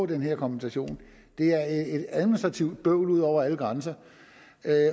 den her kompensation det er et administrativt bøvl ud over alle grænser